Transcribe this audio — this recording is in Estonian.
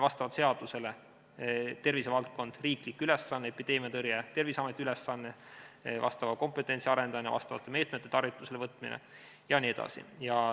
Vastavalt seadusele on tervisevaldkond riiklik ülesanne, epideemiatõrje on Terviseameti ülesanne, vastava kompetentsi arendamine, meetmete võtmine jne.